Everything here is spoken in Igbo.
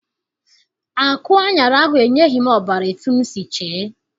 Akụ aṅara ahụ enyeghị m ọbara etu m si chee.